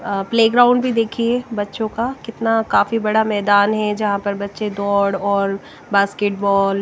playground भी देखिए बच्चों का कितना काफी बड़ा मैदान है जहां पर बच्चे दौड़ और बास्केट बॉल --